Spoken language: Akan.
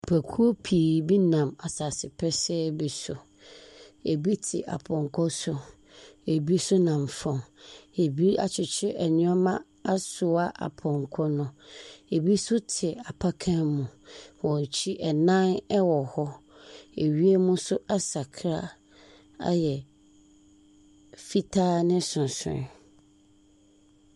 Nnipakuo pii bi nam asase pɛsɛɛ bi so. Ebi te apɔnkɔ so. Ebi nso nam fam, ebi akyekyere nneɛma asoa apɔnkɔ no. ebi nso te apakan mu. Wɔn akyi, adan wɔ hɔ. Wiem nso asakra ayɛ fitaa ne sorosoroeɛ.